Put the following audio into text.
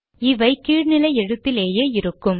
இவை கீழ் நிலை எழுத்திலேயே இருக்கும்